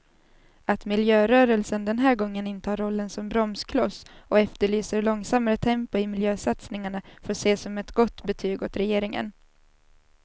Att miljörörelsen den här gången intar rollen som bromskloss och efterlyser långsammare tempo i miljösatsningarna får ses som ett gott betyg åt regeringen.